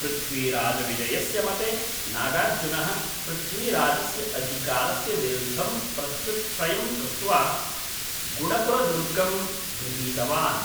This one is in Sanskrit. पृथ्वीराजविजयस्य मते, नागार्जुनः पृथ्वीराजस्य अधिकारस्य विरुद्धं प्रत्युच्छ्रयं कृत्वा, गुडपुरदुर्गं गृहीतवान्।